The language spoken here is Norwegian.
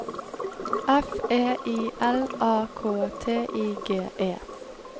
F E I L A K T I G E